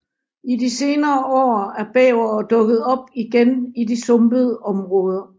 I de senere år er bævere dukket op igen i de sumpede områder